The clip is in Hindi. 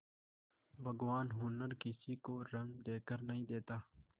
भगवान हुनर किसी को रंग देखकर नहीं देता